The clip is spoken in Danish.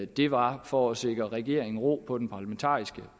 det var for at sikre regeringen ro på den parlamentariske